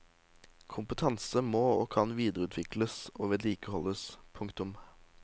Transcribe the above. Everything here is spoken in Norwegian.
Kompetanse må og kan videreutvikles og vedlikeholdes. punktum